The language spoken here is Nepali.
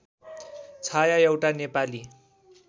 छाया एउटा नेपाली